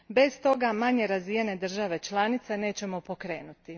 Bez toga manje razvijene države članice nećemo pokrenuti.